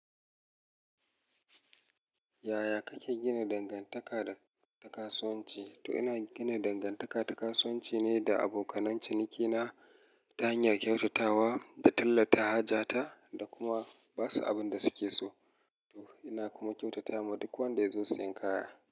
Yaya kake gina dangantaka da kasuwanci? To ina gina dangantaka da kasuwanci ne da abokan cinikina ta hanyar kyautatawa, tallata hajata da kuma ba su abin da suke so. Ina kuma kyautata wa duk wanda ya zo siyan kaya.